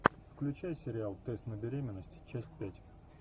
включай сериал тест на беременность часть пять